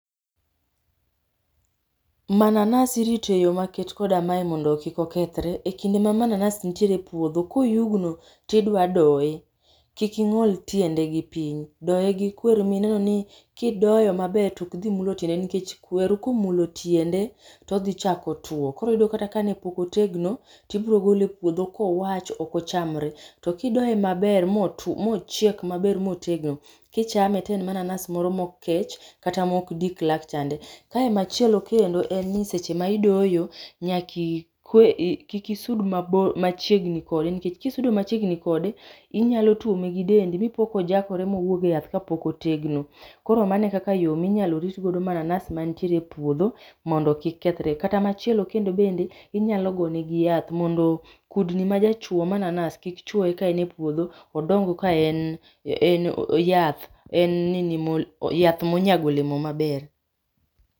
mananas irito eyo maket koda mae mondo kikokethre, e kinde ma mananas nitiere e puodho koyugno tidwa doye, kik ing'ol tiende gi piny, doye gi kweru mineno ni kidoyo maber tok dhi mulo tiende nikech kweru komulo tiende, todhichako two koro iyudo kata kanepok otegno, tibrogole e puodho kowach ok ochamre. To kidoye maber motwo mochiek maber motegno, kichame te en mananas moro mok kech kata mok dik lach chande. Kae machielo kendo en ni seche ma idoyo, nyaki kik isud mabor machiegni kode nikech kisudo machiegni kode, inyalo tuome gi dendi mipo kojakore mowuog e yath kapok otegno. Koro mano e kaka minyalo rit go mananas mantiere e puodho mondo kik kethre kata machielo kendo bende inyalo gone gi yath mondo kudni majachwo mananas kik chwoye ka en e puodho, odong ka en en yath. En nini yath monyago olemo maber